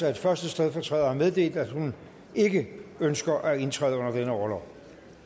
at første stedfortræder har meddelt at hun ikke ønsker at indtræde under denne orlov